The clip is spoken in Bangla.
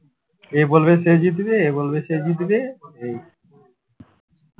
এ বলবে সে জিতেছি এ বলবে সে জিতেছে